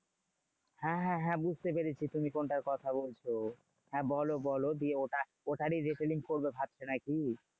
হ্যাঁ হ্যাঁ হ্যাঁ বুঝতে পেরেছি। তুমি কোনটার কথা বলছো? হ্যাঁ বলো বলো দিয়ে ওটা ওটারই retailing করবে ভাবছো নাকি?